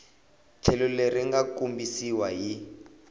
tlhelo leri nga kombisiwa hi